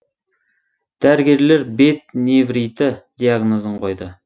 дәрігерлер бет невриті диагнозын қойды